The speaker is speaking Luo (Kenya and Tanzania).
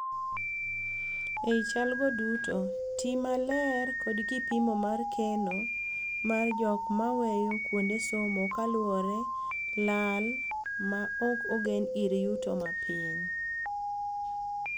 Ei chal go duto, tii maler kod kipimo mar keno mar jok maweyo kuonde somo kaluore laal ma ok ogen ir yuto ma piny.